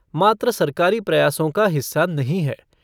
मात्र सरकारी प्रयासों का हिस्सा नहीं है